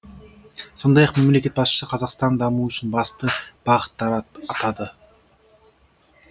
сондай ақ мемлекет басшысы қазақстанның дамуы үшін басты бағыттар атады